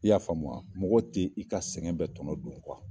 I y'a faamu wa? Mɔgɔ tɛ i ka sɛgɛn bɛ tɔnɔ dun kuwa!